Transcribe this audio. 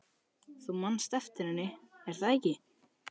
Þú manst eftir henni, er það ekki?